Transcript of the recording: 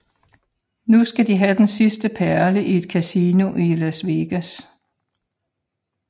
Nu skal de have den sidste perle i et kasino i Las Vegas